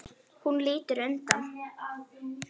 Hún lítur undan.